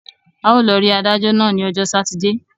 A ó lọ rí adájọ́ náà ní ọjọ́ sátidé.